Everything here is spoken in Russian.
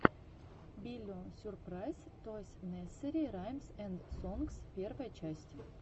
биллион сюрпрайз тойс несери раймс энд сонгс первая часть